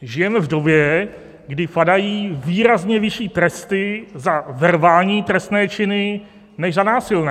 Žijeme v době, kdy padají výrazně vyšší tresty za verbální trestné činy než za násilné.